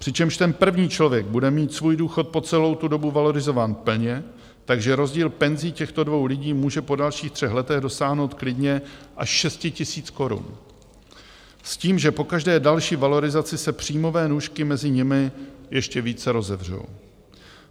Přičemž ten první člověk bude mít svůj důchod po celou tu dobu valorizován plně, takže rozdíl penzí těchto dvou lidí může po dalších třech letech dosáhnout klidně až šesti tisíc korun, s tím, že po každé další valorizaci se příjmové nůžky mezi nimi ještě více rozevřou.